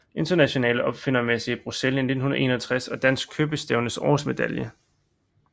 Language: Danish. Internationale Opfindermesse i Bruxelles 1961 og Dansk Købestævnes årsmedalje